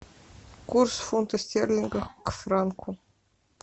курс фунта стерлинга к франку